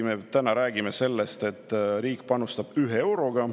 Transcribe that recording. Me täna räägime sellest, et riik panustab ühe euroga.